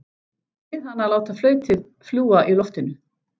Bið hana að láta flautið fljúga í loftinu.